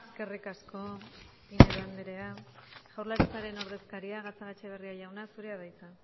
eskerrik asko pinedo anderea jaurlaritzaren ordezkaria gatzagaetxebarria jauna zurea da hitza